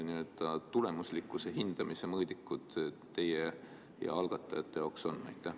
Mis need tulemuslikkuse hindamise mõõdikud teie ja algatajate jaoks on?